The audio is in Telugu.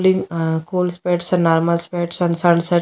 cooling ah cool spots and normal spots and sunset --